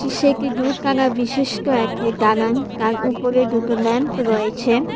একটি দুখানা বিশিষ্ট একটি দালান তার উপরে দুটো ম্যাম্প রয়েছে।